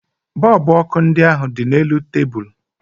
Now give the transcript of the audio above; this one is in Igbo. Bọọlbụ ọkụ ndị ahụ dị n'elu tebulu